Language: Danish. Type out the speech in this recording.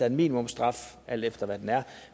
en minimumsstraf alt efter hvad den er